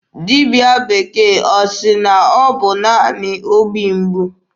Dibịa bekee ọ sị na ọ bụ naanị obi mgbu?